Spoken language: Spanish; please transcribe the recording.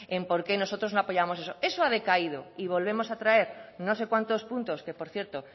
en por qué nosotros no apoyábamos eso eso ha decaído y volvemos a traer no sé cuántos puntos que por cierto